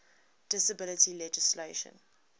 disability legislation